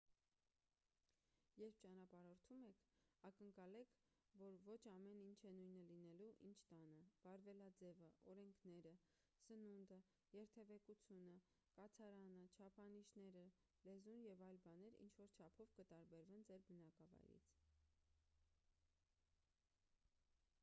երբ ճանապարհորդում եք ակնկալեք որ ոչ ամեն ինչ է նույնը լինելու ինչ տանը վարվելաձևը օրենքները սնունդը երթևեկությունը կացարանը չափանիշները լեզուն և այլ բաներ ինչ-որ չափով կտարբերվեն ձեր բնակավայրից